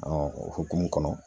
o hokumu kɔnɔ